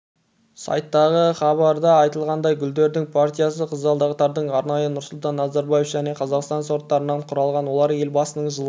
сайттағы хзабарда айтылғандай гүлдердің партиясы қызғалдақтардың арнайы нұрсұлтан назарбаев және қазақстан сорттарынан құралған олар елбасының жылғы